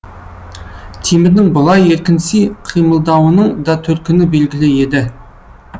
темірдің бұлай еркінси қимылдауының да төркіні белгілі еді